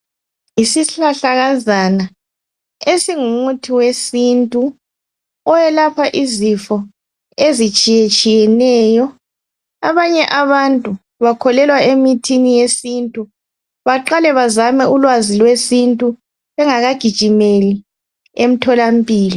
Yisihlahlakazana esingumuthi wesintu, oyelapha izifo ezitshiyetshiyeneyo . Abanye abantu bakholelwa emithini yesintu, baqale bazame ulwazi lwesintu bengakagijimeli emtholampilo.